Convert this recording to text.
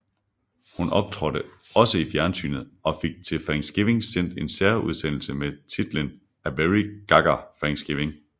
Hun optrådte også i fjernsynet og fik til Thanksgiving sendt en særudsendelse med titlen A Very Gaga Thanksgiving